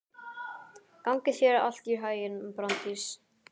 Gangi þér allt í haginn, Branddís.